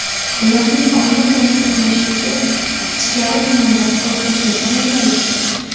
Ularning oyna bilan to‘qnashuvida ichkari tomondan qo‘rqinchli ovozlar eshitilgan.